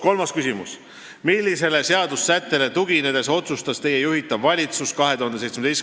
Kolmas küsimus: "Millisele seadusesättele tuginedes otsustas Teie juhitav valitsus 2017.